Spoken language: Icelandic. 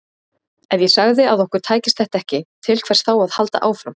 Ef ég segði að okkur tækist þetta ekki, til hvers þá að halda áfram?